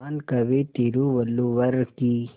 महान कवि तिरुवल्लुवर की